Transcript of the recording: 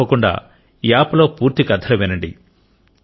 తప్పకుండా యాప్ లో పూర్తి కథలు వినండి